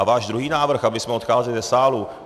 A váš druhý návrh, abychom odcházeli ze sálu.